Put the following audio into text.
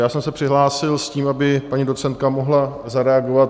Já jsem se přihlásil s tím, aby paní docentka mohla zareagovat.